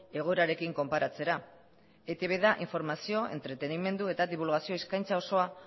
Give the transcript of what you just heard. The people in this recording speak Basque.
egoerarekin konparatzera eitb da informazio entretenimendu eta dibulgazio eskaintza osoa